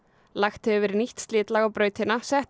lagt hefur verið nýtt slitlag á brautina settir